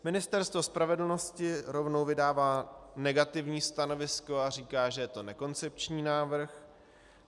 Ministerstvo spravedlnosti rovnou vydává negativní stanovisko a říká, že je to nekoncepční návrh.